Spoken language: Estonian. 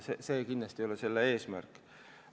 See kindlasti ei olegi selle eelnõu eesmärk.